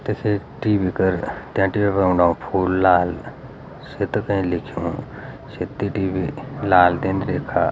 तेसे टी.वी. कर तै टी.वी. फर औंण लागू फूल लाल सेत कईं लिख्युं सेत्ती टी.वी. लाल टिन रेखा।